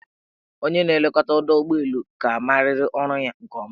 Onye na-elekọta ọdọụgbọelu ka amariri ọrụ ya nke ọma.